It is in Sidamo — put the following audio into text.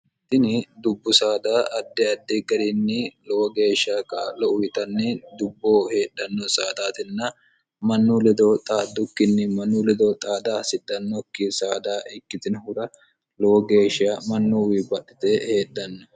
itini dubbu saada adde adde garinni lowo geeshshak lou yitanni dubboo heedhanno saadaatinna mannu lidoo xaaddukkinni mannu lidoo xaada hasithannokki saada ikkitinohura lowo geeshsha mannuwi badhite heedhanno